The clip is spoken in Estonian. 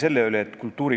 Austatud kolleegid!